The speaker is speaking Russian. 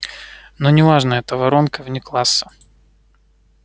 но не важно это воронка вне класса